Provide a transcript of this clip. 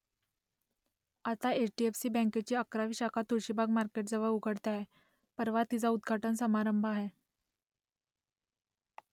आता H D F C बँकेची अकरावी शाखा तुळशीबाग मार्केटजवळ उघडते आहे . परवा तिचा उद्घाटन समारंभ आहे